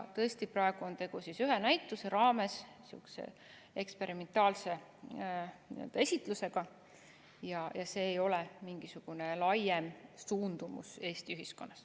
Tõesti, praegu on tegu ühe näituse raames sihukese eksperimentaalse esitlusega ja see ei ole mingisugune laiem suundumus Eesti ühiskonnas.